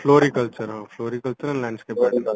Floriculture ହଁ Floriculture and landscape gardening